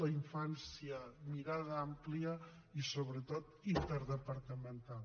la infància mirada àmplia i sobretot interdepartamental